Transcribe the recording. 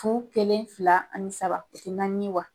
Fu kelen fila ani saba naani wa ?